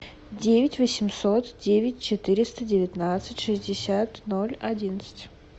девять восемьсот девять четыреста девятнадцать шестьдесят ноль одиннадцать